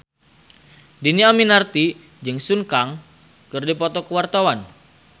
Dhini Aminarti jeung Sun Kang keur dipoto ku wartawan